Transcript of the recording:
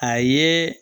A ye